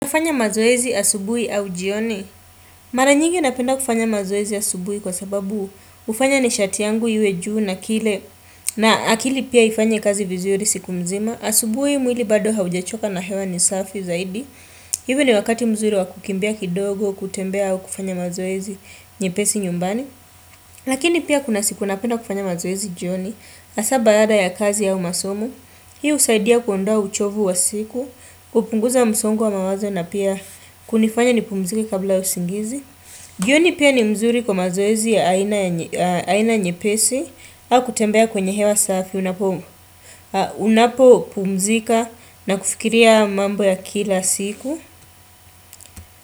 Hufanya mazoezi asubuhi au jioni? Mara nyingi napenda kufanya mazoezi asubuhi kwa sababu hufanya nishati yangu iwe juu na kile na akili pia ifanye kazi vizuri siku mzima. Asubuhi mwili bado haujachoka na hewa ni safi zaidi. Hivi ni wakati mzuri wa kukimbia kidogo, kutembea au kufanya mazoezi nyepesi nyumbani. Lakini pia kuna siku napenda kufanya mazoezi jioni hasa baada ya kazi au masomo. Hii husaidia kuondoa uchovu wa siku, kupunguza msongo wa mawazo na pia kunifanya nipumzika kabla ya usingizi. Jioni pia ni mzuri kwa mazoezi ya aina nyepesi, au kutembea kwenye hewa safi, unapopumzika na kufikiria mambo ya kila siku.